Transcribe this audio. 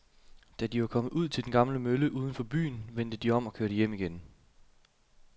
Da de var kommet ud til den gamle mølle uden for byen, vendte de om og kørte hjem igen.